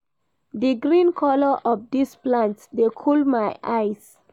Di green colour of dis plant dey cool my eyes.